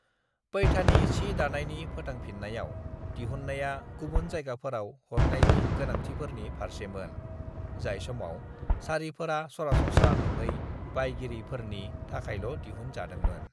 "पैठानी सि दानायनि फोथांफिन्नायाव, दिहुन्नाया गुबुन जायगाफोराव हरनायनि गोनांथिफोरनि फारसेमोन, जाय समाव साड़िफोरा सरासनस्रा नङै बायगिरिफोरनि थाखायल' दिहुन जादोंमोन।"